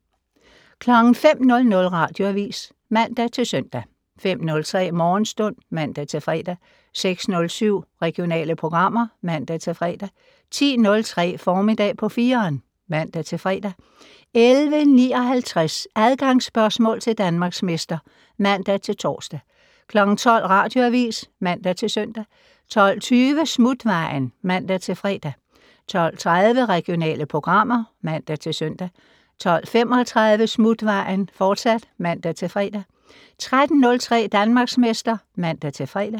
05:00: Radioavis (man-søn) 05:03: Morgenstund (man-fre) 06:07: Regionale programmer (man-fre) 10:03: Formiddag på 4'eren (man-fre) 11:59: Adgangsspørgsmål til Danmarksmester (man-tor) 12:00: Radioavis (man-søn) 12:20: Smutvejen (man-fre) 12:30: Regionale programmer (man-søn) 12:35: Smutvejen, fortsat (man-fre) 13:03: Danmarksmester (man-fre)